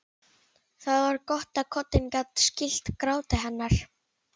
Það var gott að koddinn gat skýlt gráti hennar.